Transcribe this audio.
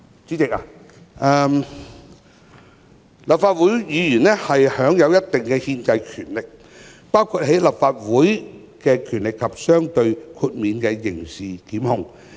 主席，立法會議員享有一定的憲制權力，包括立法的權力及相對的豁免刑事檢控權。